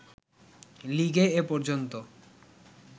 লিগে এ পর্যন্ত